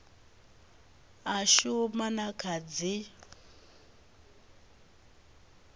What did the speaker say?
a shuma na kha dzipmb